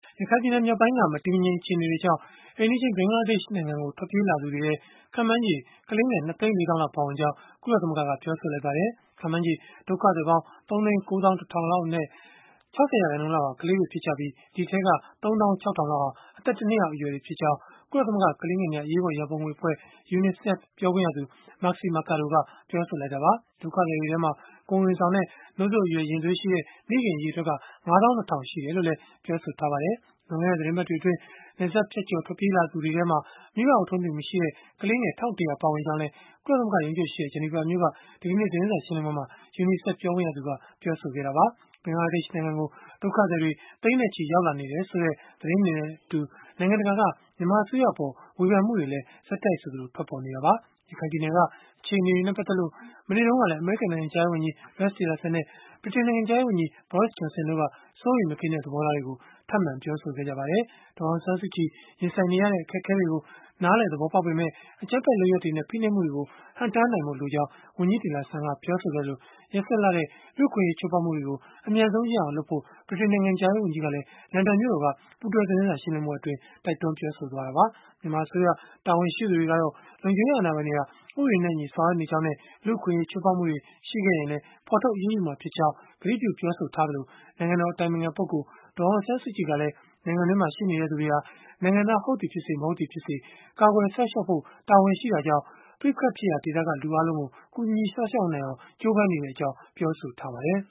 ရခိုင်ပြည်နယ် မြောက်ပိုင်းက မတည်မငြိမ် အခြေအနေတွေကြောင့် အိမ်နီးချင်း ဘင်္ဂလားဒေ့ရှ် နိုင်ငံကို ထွက်ပြေးလာသူတွေထဲမှာ ခန့်မှန်းချေ ကလေးငယ် ၂ သိန်း ၄ သောင်းလောက် ပါဝင်ကြောင်း ကုလသမဂ္ဂက ပြောဆိုလိုက်ပါတယ်။ ခန့်မှန်းချေ ဒုက္ခသည်ပေါင်း ၃၉၁,၀၀၀ လောက်အနက် ၆၀ ရာခိုင်နှုန်းလောက်ဟာ ကလေးတွေ ဖြစ်ကြပြီး၊ ဒီအထဲက ၃၆,၀၀၀ လောက်ဟာ အသက် ၁ နှစ်အောက် အရွယ်တွေ ဖြစ်ကြောင်း ကုလသမဂ္ဂ ကလေးငယ်များ အရေးပေါ်ရန်ပုံငွေအဖွဲ့ UNICEF ပြောခွင့်ရသူ Marixie Mercado က ပြောဆိုလိုက်တာပါ။ ဒုက္ခသည်တွေထဲမှာ ကိုယ်ဝန်ဆောင်နဲ့ နို့စို့အရွယ်ရင်သွေးရှိတဲ့ မိခင်အရေအတွက်က ၅၂,၀၀၀ ရှိတယ်လို့လည်း ပြောပါတယ်။ လွန်ခဲ့တဲ့ သီတင်းပတ်တွေအတွင်း နယ်စပ်ဖြတ်ကျော် ထွက်ပြေးလာသူတွေထဲမှာ မိဘအုပ်ထိန်းသူမရှိတဲ့ ကလေးငယ် ၁,၁၀၀ ပါဝင်ကြောင်းလည်း ကုလသမဂ္ဂ ရုံးချုပ်ရှိရာ ဂျနီဗာမြို့က ဒီကနေ့ သတင်းစာရှင်းလင်းပွဲမှာ UNICEF ပြောခွင့်ရသူက ပြောဆိုခဲ့တာပါ။ ဘင်္ဂလားဒေ့ရှ်နိုင်ငံကို ဒုက္ခသည်တွေ သိန်းနဲ့ချီ ရောက်လာနေတယ်ဆိုတဲ့ သတင်းတွေနဲ့အတူ နိုင်ငံတကာက မြန်မာအစိုးရအပေါ် ဝေဖန်မှုတွေလည်း ဆက်တိုက်ဆိုသလို ထွက်ပေါ်နေတာပါ။ ရခိုင်ပြည်နယ်က အခြေအနေနဲ့ ပတ်သက်လို့ မနေ့တုန်းကလည်း အမေရိကန် နိုင်ငံခြားရေးဝန်ကြီး Rex Tillerson နဲ့ ဗြိတိန်နိုင်ငံခြားရေးဝန်ကြီး Boris Johnson တို့က စိုးရိမ်မကင်းတဲ့ သဘောထားတွေကို ထပ်မံ ပြောဆိုခဲ့ကြပါတယ်။ ဒေါ်အောင်ဆန်းစုကြည် ရင်ဆိုင်နေရတဲ့ အခက်အခဲတွေကို နားလည် သဘောပေါက်ပေမဲ့၊ အကြမ်းဖက်လုပ်ရပ်တွေနဲ့ ဖိနှိပ်မှုတွေကို ဟန့်တားနိုင်ဖို့ လိုကြောင်း ဝန်ကြီး Tillerson က ပြောဆိုခဲ့သလို၊ ရက်စက်လှတဲ့ လူ့အခွင့်အရေး ချိုးဖောက်မှုတွေကို အမြန်ဆုံးရပ်အောင် လုပ်ဖို့ ဗြိတိန်နိုင်ငံခြားရေး ဝန်ကြီးကလည်း လန်ဒန်မြို့တော်က ပူးတွဲသတင်းစာရှင်းလင်းပွဲအတွင်း ပြောဆိုခဲ့တာပါ။ မြန်မာအစိုးရ တာဝန်ရှိသူတွေကတော့ လုံခြုံရေးအာဏာပိုင်တွေက ဥပဒေနဲ့အညီ ဆောင်ရွက်နေကြောင်းနဲ့ လူ့အခွင့်အရေး ချိုးဖောက်မှုတွေ ရှိခဲ့ရင်လည်း ဖော်ထုတ်အရေးယူမှာ ဖြစ်ကြောင်း ကတိပြုထားသလို၊ နိုင်ငံတော် အတိုင်ပင်ခံပုဂ္ဂိုလ် ဒေါ်အောင်ဆန်းစုကြည် ကလည်း နိုင်ငံတွင်းမှာ ရှိနေသူတွေဟာ နိုင်ငံသား ဟုတ်သည်ဖြစ်စေ၊ မဟုတ်သည်ဖြစ်စေ ကာကွယ်စောင့်ရှောက်ဖို့ တာဝန်ရှိတာကြောင့်၊ ပဋိပက္ခဖြစ်ရာဒေသက လူအားလုံးကို ကူညီစောင့်ရှောက်နိုင်အောင် ကြိုးပမ်းနေကြောင်း ပြောဆိုထားပါတယ်